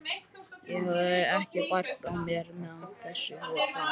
Ég hafði ekki bært á mér meðan þessu fór fram.